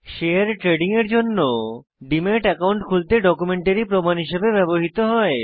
share trading এর জন্য demat account খুলতে ডকুমেন্টারী প্রমাণ হিসেবে ব্যবহৃত হয়